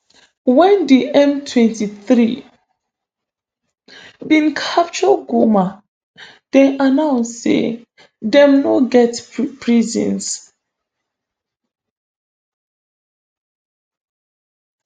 wen di mtwenty-three bin capture goma dem announce say dem no get prisons